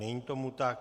Není tomu tak.